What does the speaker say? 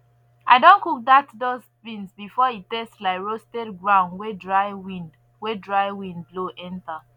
i don cook dat dust bean before e taste like roasted ground wey dry wind wey dry wind blow enter